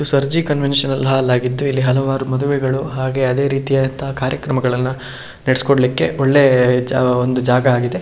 Sarji conventional hall ಆಗಿದ್ದು ಇಲ್ಲಿ ಮದುವೆಗಳು ಹಾಗು ಅದೇ ರೀತಿಯಾದಂತಹ ಕಾರ್ಯಕ್ರಮಗಳನ್ನ ನಡೆಸಿಕೊಡಲಿಕ್ಕೇ ಒಂದು ಒಳ್ಳೆ ಜಾ ಒಂದು ಜಾಗ ಆಗಿದೆ.